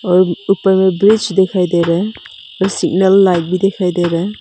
और ऊपर में ब्रिज दिखाई दे रहा है और सिग्नल लाइट भी दिखाई दे रहा है।